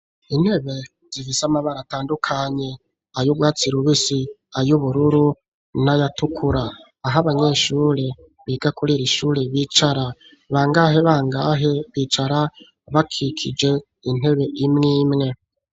Intebe zifise amabara atandukanye ayo urwatsi rubisi ayubururu n'ayatukura, aho abanyeshure biga kuriri shure bicara bangahe bangahe bicara bakikije intebe imwimwe.